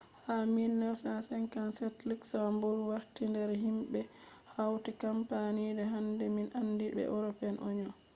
ha 1957 luxembourg warti nder himbe je hauti kampani je hande min andi be european union